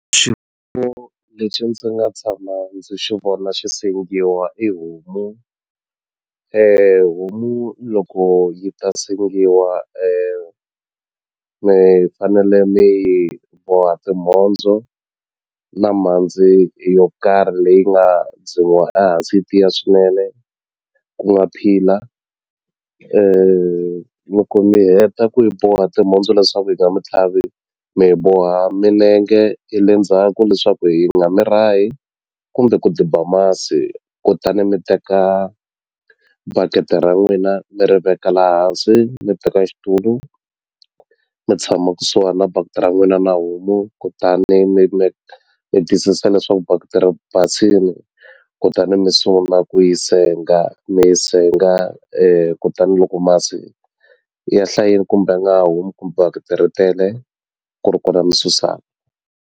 lexi ndzi nga tshama ndzi xi vona xi sengiwa i homu homu loko yi ta sengiwa mi fanele mi yi boha timhondzo na mhandzi yo karhi leyi nga dzimiwa ehansi yi tiya swinene ku nga pilar loko mi heta ku yi boha timhondzo leswaku yi nga mi tlhavi mi yi boha milenge ye le ndzhaku leswaku yi nga mi rahi kumbe ku diba masi kutani mi teka bakiti ra n'wina mi ri veka la hansi mi teka xitulu mi tshama kusuhani na bakiti ra n'wina na homu kutani mi mi twisisa leswaku bakiti ri basini kutani mi sungula ku yi senga mi yi senga kutani loko masi ya hlayini kumbe nga ha humi bakiti ri tele ku ri kona mi susaka.